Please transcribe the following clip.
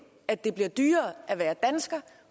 at det bliver dyrere at være dansker